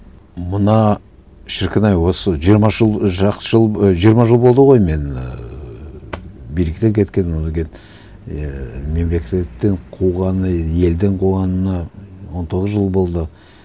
мына шіркін ай осы жиырма жыл жақсы жыл жиырма жыл болды ғой мен ііі биліктен кеткенім одан кейін ыыы мемлекеттен қуғаны елден қуғанына он тоғыз жыл болды